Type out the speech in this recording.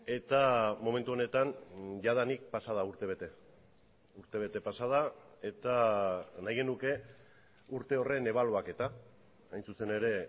eta momentu honetan jadanik pasa da urtebete urtebete pasa da eta nahi genuke urte horren ebaluaketa hain zuzen ere